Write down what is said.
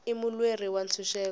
i mulweri wa ntshuxeko